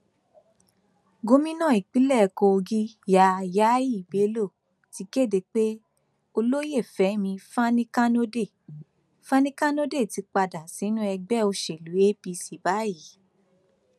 gomina ìpínlẹ kogi yah yahy bello ti kéde pé olóyè fẹmi fanikanode fanikanode ti padà sínú ẹgbẹ òsèlú apc báyìí